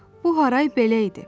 Bu haray belə idi: